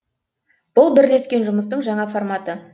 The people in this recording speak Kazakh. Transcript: бұл бірлескен жұмыстың жаңа форматы